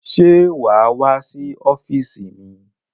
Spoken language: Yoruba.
Ṣé wà á wá sí ọ́fíísì mi?